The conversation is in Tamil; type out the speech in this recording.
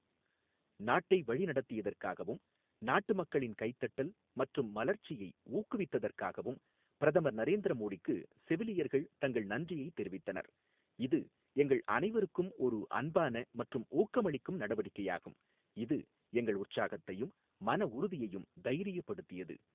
நாட்டை வழிநடத்தியதற்காகவும், நாட்டுமக்களின் கைதட்டல் மற்றும் மலர்ச்சியை ஊக்குவித்ததற்காகவும் பிரதமர் நரேந்திர மோடிக்கு செவிலியர்கள் தங்கள் நன்றியைதெரிவித்தனர், இது எங்கள் அனைவருக்கும் ஒரு அன்பான மற்றும் ஊக்கமளிக்கும் நடவடிக்கையாகும், இது எங்கள் உற்சாகத்தையும் மன உறுதியையும் தைரியப்படுத்தியது.